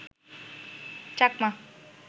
Chakma